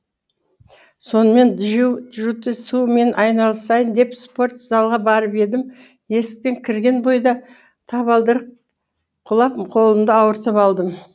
сонымен джиу джитсумен айналысайын деп спорт залға барып едім есіктен кірген бойда табалдырық құлап қолымды ауыртып алдым